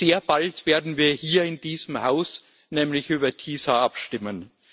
Sehr bald werden wir hier in diesem Haus nämlich über TiSA abstimmen.